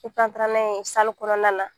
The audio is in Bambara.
an taara n'a ye kɔnɔna na